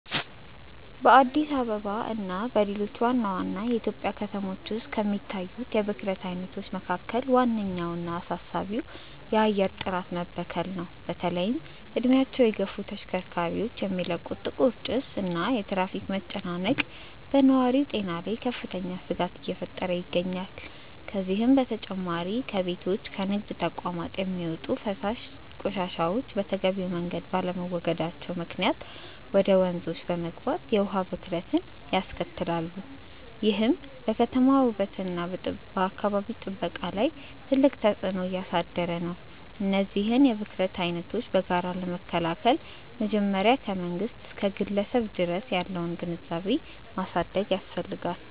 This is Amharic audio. በአዲስ አበባ እና በሌሎች ዋና ዋና የኢትዮጵያ ከተሞች ውስጥ ከሚታዩት የብክለት አይነቶች መካከል ዋነኛውና አሳሳቢው የአየር ጥራት መበከል ነው። በተለይም እድሜያቸው የገፉ ተሽከርካሪዎች የሚለቁት ጥቁር ጭስ እና የትራፊክ መጨናነቅ በነዋሪው ጤና ላይ ከፍተኛ ስጋት እየፈጠረ ይገኛል። ከዚህም በተጨማሪ ከቤቶችና ከንግድ ተቋማት የሚወጡ የፍሳሽ ቆሻሻዎች በተገቢው መንገድ ባለመወገዳቸው ምክንያት ወደ ወንዞች በመግባት የውሃ ብክለትን ያስከትላሉ፤ ይህም በከተማዋ ውበትና በአካባቢ ጥበቃ ላይ ትልቅ ተጽዕኖ እያሳደረ ነው። እነዚህን የብክለት አይነቶች በጋራ ለመከላከል መጀመሪያ ከመንግስት እስከ ግለሰብ ድረስ ያለውን ግንዛቤ ማሳደግ ያስፈልጋል።